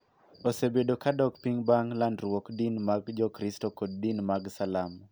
Osebedo ka dok piny bang� landruok din mag Jokristo kod din mag Salam.